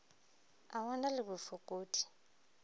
a o na le bofokodi